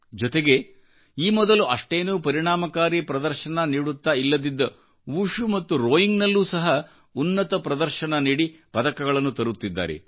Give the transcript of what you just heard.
ಜೊತೆಗೆ ಈ ಮೊದಲುಅಷ್ಟೇನೂ ಪರಿಣಾಮಕಾರಿ ಪ್ರದರ್ಶನ ನೀಡುತ್ತಾ ಇಲ್ಲದಿದ್ದ ವುಶು ಮತ್ತು ರೋಯಿಂಗ್ನಲ್ಲೂ ಸಹ ಉನ್ನತ ಪ್ರದರ್ಶನ ನೀಡಿ ಪದಕಗಳನ್ನು ತರುತ್ತಿದ್ದಾರೆ